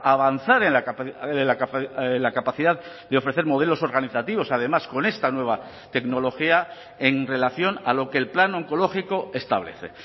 a avanzar en la capacidad de ofrecer modelos organizativos además con esta nueva tecnología en relación a lo que el plan oncológico establece